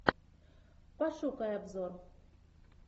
пошукай обзор